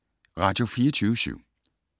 Radio24syv